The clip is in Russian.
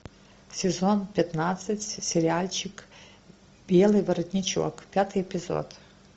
сезон пятнадцать сериальчик белый воротничок пятый эпизод